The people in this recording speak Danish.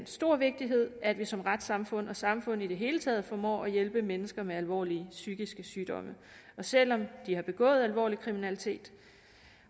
stor vigtighed at vi som retssamfund og samfund i det hele taget formår at hjælpe mennesker med alvorlige psykiske sygdomme selv om de har begået alvorlig kriminalitet